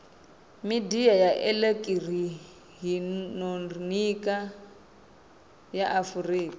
midia ya elekihironiki ya afurika